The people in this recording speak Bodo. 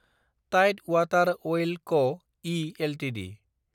टाइड वाटार अइल क (इ) एलटिडि